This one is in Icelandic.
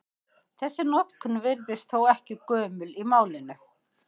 Þessi notkun virðist þó ekki gömul í málinu.